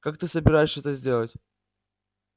как ты собираешься это сделать